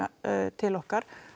til okkar